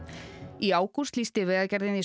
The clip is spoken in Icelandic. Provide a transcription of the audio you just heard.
í ágúst lýsti Vegagerðin því